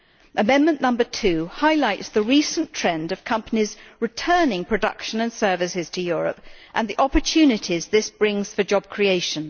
Amendment 2 highlights the recent trend of companies towards returning production and services to Europe and the opportunities this brings for job creation.